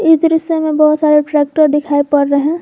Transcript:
इस दृश्य में बहुत सारे ट्रैक्टर दिखाई पड़ रहे हैं।